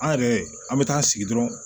An yɛrɛ an bɛ taa sigi dɔrɔnw